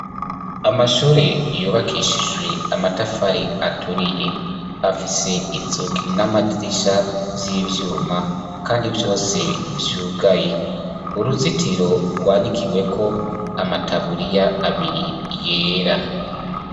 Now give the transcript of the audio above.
Amashure yubakishijwe amatafari aturiye; afise inzugi n'amadirisha vy'ivyuma kandi vyose vyugaye. Uruzitiro rwanikiweko amataburiya abiri yera.